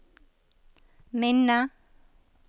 minne